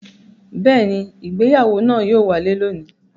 Bẹ́ẹ̀ ni, ìgbéyàwó náà yóò wáyé lónìí.